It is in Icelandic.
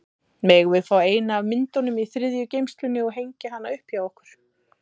Megum við fá eina af myndunum í þriðju geymslunni og hengja hana upp hjá okkur?